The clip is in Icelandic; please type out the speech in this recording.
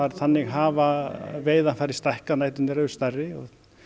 þannig hafa veiðarfæri stækkað næturnar eru stærri og